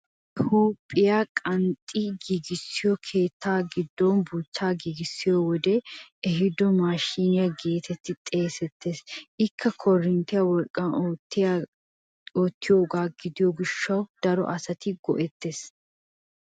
Hagee huuphphiyaa qanxxetti giigissiyo keettaa giddon buuchchaa giigissiyo wodee ehiido mashinyaa getetti xeegettees. Ikka korinttiyaa wolqqan oottiyoo gishshawu daro asati a go"ettoosona.